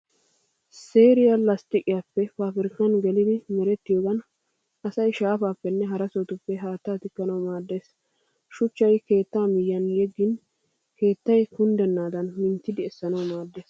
Seeriya lastiqiyaappe paabirkkan gelidi merettiyogan asay shaafaappenne hara sohotuppe haattaa tikkanawu maaddeees. Shuchchay keettaa miyyiyan yeggin keettay kunddennaadan minttidi essanawu maaddeees.